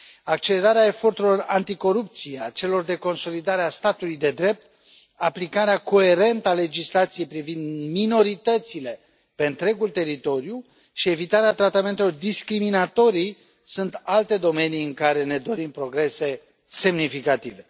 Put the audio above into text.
Accelerarea eforturilor anticorupție, a celor de consolidare a statului de drept, aplicarea coerentă a legislației privind minoritățile pe întregul teritoriu și evitarea tratamentelor discriminatorii sunt alte domenii în care ne dorim progrese semnificative.